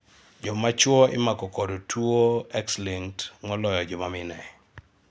jomachuo imako kod X-linked tuo moloyo joma mine